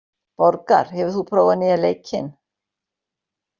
Borgar, hefur þú prófað nýja leikinn?